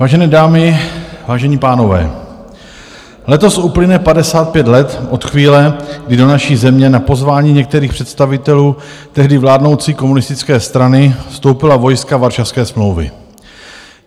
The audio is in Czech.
Vážené dámy, vážení pánové, letos uplyne 55 let od chvíle, kdy do naší země na pozvání některých představitelů tehdy vládnoucí komunistické strany vstoupila vojska Varšavské smlouvy.